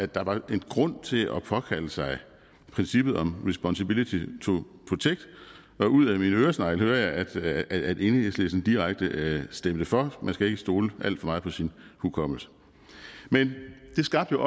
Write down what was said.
der var en grund til at påkalde sig princippet om responsability to protect og ud af min øresnegl hører jeg at at enhedslisten direkte stemte for man skal ikke stole alt for meget på sin hukommelse men det skabte